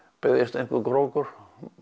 beygðist einhver krókur